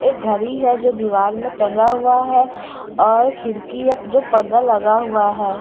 एक घरी है जो दीवार में टंगा हुआ है और खिड़की है जो पर्दा लगा हुआ है।